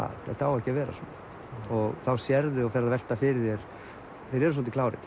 þetta á ekki að vera svona þá sérðu og ferð að velta fyrir þér þeir eru svolítið klárir